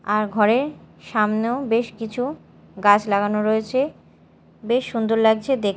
আর ঘরের সামনেও বেশ কিছু গাছ লাগানো রয়েছে বেশ সুন্দর লাগছে দেখ--